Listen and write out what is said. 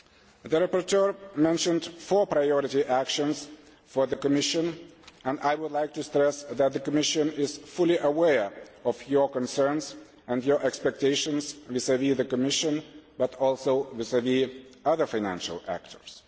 The rapporteur mentioned four priority actions for the Commission and I would like to stress that the Commission is fully aware of your concerns and your expectations vis vis the Commission, but also vis vis other financial actors.